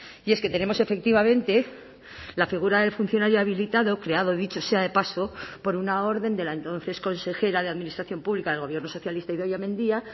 y es que tenemos efectivamente la figura del funcionario habilitado creado dicho sea de paso por una orden de la entonces consejera de administración pública del gobierno socialista idoia mendia